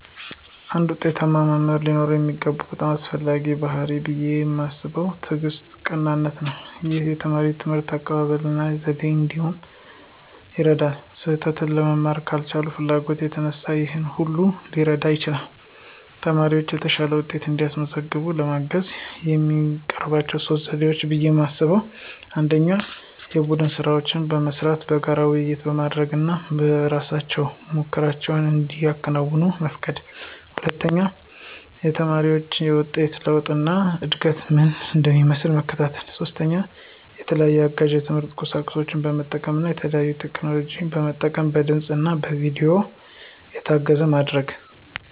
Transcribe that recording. አንድ ዉጤታማ መምህር ሊኖረው የሚገባው በጣም አስፈላጊው ባሕርይ ብየ ማስበው ትዕግስትና ቀናነት ነው። ይህም የተማሪ የትምህርት አቀባበል እና ዘዴ እንዴት እንደሆነ ይረዳል። ስህተትን ለመማር ካላቸው ፍላጎት የተነሳ ይሆናል ብሎ ሊረዳ ይችላል። ተማሪዎች የተሻለ ውጤት እንዲያመጡ ለማገዝ የሚጠቀሙባቸው 3 ዘዴዎች ብየ ማስበው 1=የቡድን ስራዎች መስራት፣ በጋራ ውይይቶች ማድረግ እና በእራሳቸው ሙከራዎችን እንዲያከናውኑ መፍቀድ 2=የተማሪዎችን የውጤት ለውጥ እና እድገት ምን እንደሚመስል መከታተል። 3=የተለያዩ አጋዥ የትምህርት ቁሳቁሶችን በመጠቀም እና የተለያዩ ቴክኖሎጂን መጠቀም በድምፅ እና በቪዲዮ የታገዘ ማድረግ።